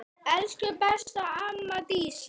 Elsku besta amma Dísa.